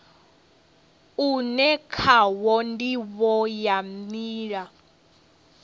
une khawo ndivho ya nila